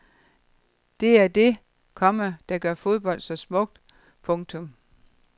Det er det, komma der gør fodbold så smukt. punktum